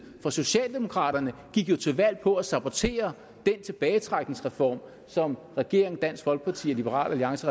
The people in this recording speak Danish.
for socialdemokraterne gik jo til valg på at sabotere den tilbagetrækningsreform som regeringen dansk folkeparti og liberal alliance